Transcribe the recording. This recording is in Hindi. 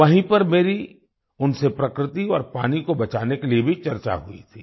वहीं पर मेरी उनसे प्रकृति और पानी को बचाने के लिए भी चर्चा हुई थी